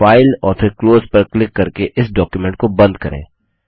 चलिए फाइल और फिर क्लोज पर क्लिक करके इस डॉक्युमेंट को बंद करें